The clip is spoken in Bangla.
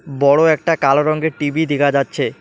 বড়ো একটা কালো রঙের টি_ভি দিখা যাচ্ছে।